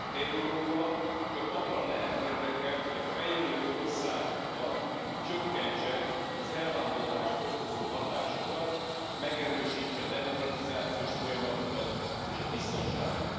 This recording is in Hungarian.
Európa csak abban lehet érdekelt, hogy a fejlődő országokban csökkentse az elvándorlást fokozó hatásokat, megerősítse a demokratizációs folyamatokat és a biztonságot.